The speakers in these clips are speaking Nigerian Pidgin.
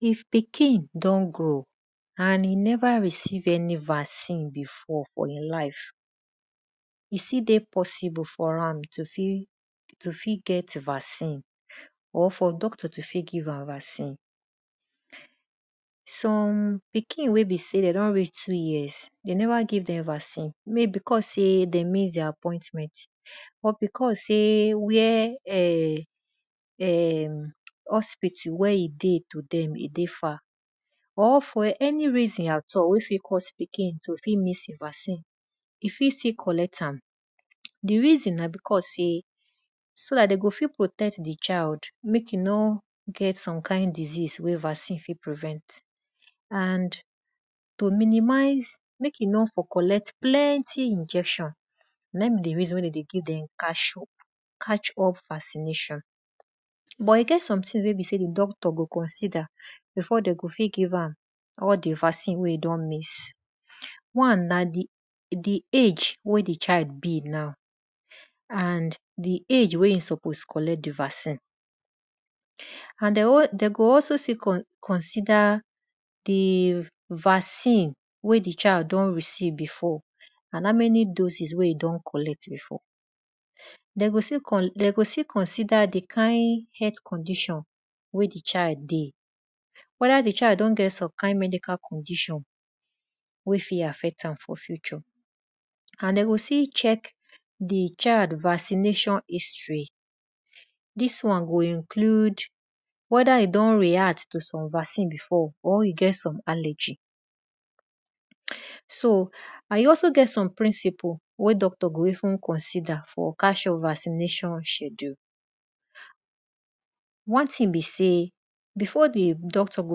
If pikin don grow and e neva receive any vaccine fo e life before, e fit get vaccine for e life, e still dey possible for him to fit get vaccine or doctor to fit give am vaccine. Some pikin wey be sey de don reah two years de neva give dem vaccine maybe because se den miss di appointment or because sey where[um]hospital where e dey to dem e dey far or for any reason at all wey fit cause pikin to fit miss vaccine, e fit still collect am. Di reason na because sey so dt den go fit protect di child mek e no get some kind disease wey vaccine efit prevent and to minimize mek e no fot collect plenty injection na in be di reason wen de dey give vaccination. But e get some things wen be sey di doctor go consider before den go fit give am all di vaccine wey de don miss. One na di age wen di child be na and di age wn e suppose collect di vaccine. And de go also still consider di vaccine wen di child don receive before and howmany doses wey e don collect before. De go still consider di kind health condition wey di child dey weda di child don get some kind medical condition wey fit affect am for future and den go still check di child vaccination history dis won go include weda e don react to some vaccine befor or e get some allergy. So and e also get some principle wey doctor go even considwr for calcium vaccination schedule. One thing be sey before di doctor go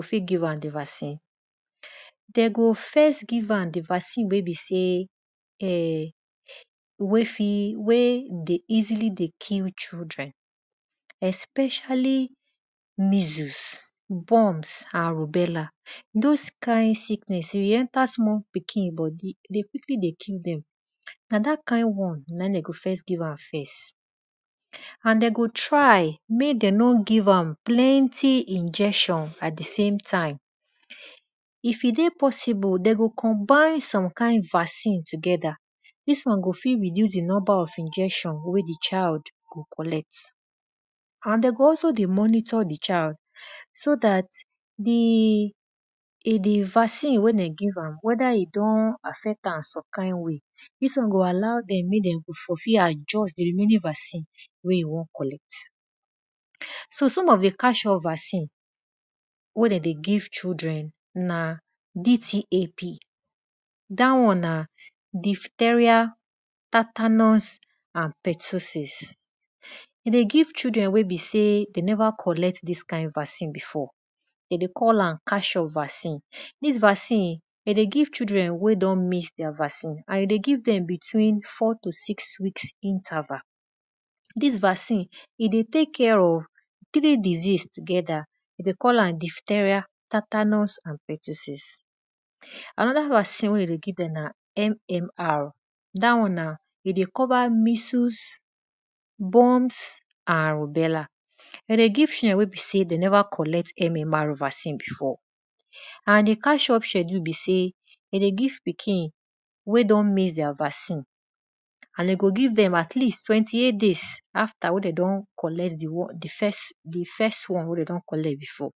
fit give am di vaccine, de go first give qam di vaccine wey be sey wey dey easily dey kill children especially measles, burns and beller. those kind sickeness if e enter small pikin dem bodi, e dey quickly dey kill dem na dat kind won na in de go first give am first and de go try mek dem no give am plenty injection at di same time. If e dey possible de go combine some kind vaccine togthwr dis won go fit reduce di number of injection wey di child go collect and de go also go monitor di child so dat di vaccine wey dem give am weda e fit affcrt am some kind way dis won go allow dem weda dey go fit adjust di remaining vaccine wey de won collect. So some of di calcium vaccine wey de dey give children na DPT dat won na diphtheria tetanus toxoid e dey give children wey beseyde neva collect dis kind vaccine before. De dey call am calcium vaccine. Dis vaccine de dey give children weydon miss their vaccine and de dey give dem between four to six weeks interval. Dis vaccine, e deytek care of kidney disease together e dey call am diphtheria tetanus toxoid. Anoda vaccine weyde dey give dem na MMR da won na e dey cover measles, bunms and beller. De dey give share wey be sey na de never collect any vaccine before and di clcium schedule be sey de dey give pikin wey don miss their vacin and de go give dem at least twenty-eight days afta wey dey don collect di first one wey de don collect before.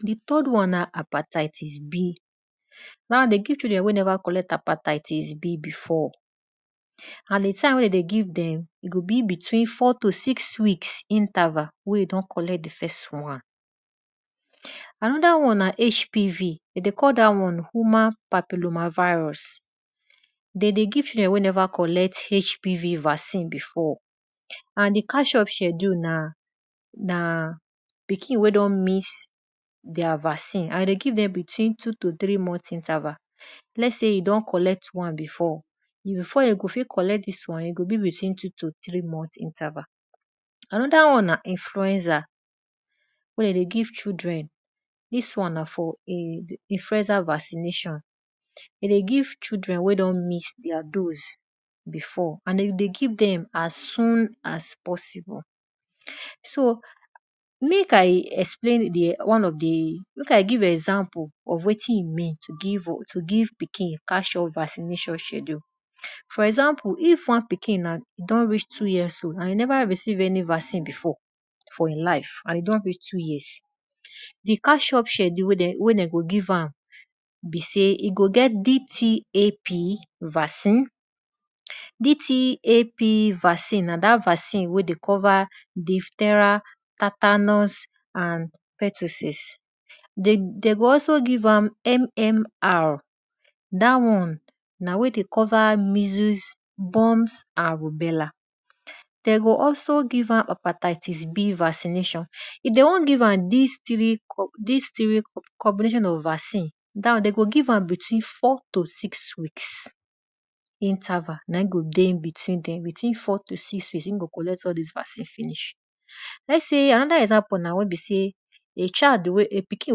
Di third wan na hepatitis B de dey give children wey never collect hepatitis B before and di tim wey den go give dem, e go be between four to six weeks interval wey e don collect di firs wan. Anoda wanna HPT, de dey call da won human papillomavirus, de dey give children wey never collect hpv vaccine before and di calcium sheduke na pikin wey ne pikin wey don miss their vaccine and de dey give dem between two to three month interval lets sy e don collect wan before, before den go fit collect dis wan, e go be like tow to three month interval. Anoda wan na influencer vaccination. De dey give children wey don miss their dose before and you dey give dem as soon as possible. So mek I explain di one of di mek I give example of wetin e mean to give pikin calcium vaccination schedule. For example if wan pikin don reach two years so. E neer receive any vaccine for e life and e don reach two years, di calcium schedule qwey de go give am go get DTAP vaccine, DTAP vaccine na dat vaccine wey de cover diphtheria tetanus toxoid. De go aso give am MMR. Da won na wey de cover measles, boil. De go also give am hepatitisB vaccination. If de won give am dis three combination of vaccine, de go give am with up to six weeks interval na in go dey inbetween e go collect all dis vaccine finish. Let sey anoda example na wen be sey a pikin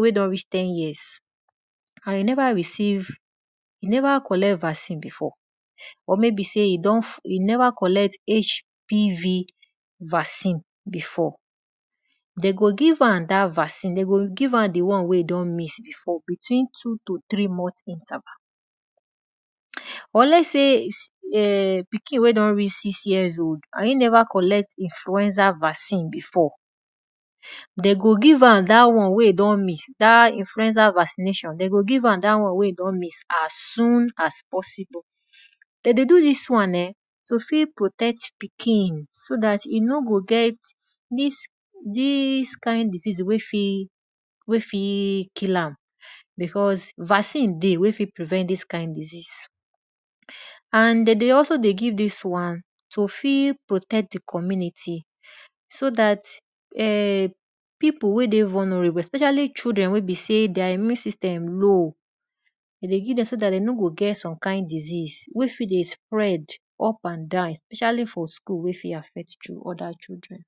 wey don reach ten years and e neva receive and e nevqa collect vaccine before or maybe sey e neva collect HPV vaccine, de go give am dat vaccine, de go give am di one wey e don miss before between two to three month interval or lets say pikin wey don reach six years old e neva collect influencer vaccine before den go give am dat won wey e don miss as soon as possible. Den dey do dis wan[um]to fit protect pikin so dat e no go get dis kind disease wey fit kill ambecause vaccine dey wen fit prevent dis kind disiease,. And de dey also dey give dis wan to fit protect di commnuty so dat pipu wey dey vulnerable especially children wen be sey thir immune system low, e dey giv dem so dat de no go get all kind disese wey fit spread up and down especially for school wey fit affect other children.